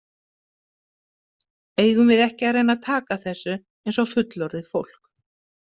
Eigum við ekki að reyna að taka þessu eins og fullorðið fólk?